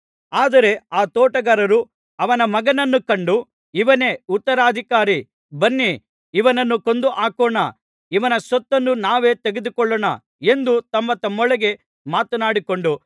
ಆದರೆ ಆ ತೋಟಗಾರರು ಅವನ ಮಗನನ್ನು ಕಂಡು ಇವನೇ ಉತ್ತರಾಧಿಕಾರಿ ಬನ್ನಿ ಇವನನ್ನು ಕೊಂದು ಹಾಕೋಣ ಇವನ ಸ್ವತ್ತನ್ನು ನಾವೇ ತೆಗೆದುಕೊಳ್ಳೋಣ ಎಂದು ತಮ್ಮತಮ್ಮೊಳಗೆ ಮಾತನಾಡಿಕೊಂಡು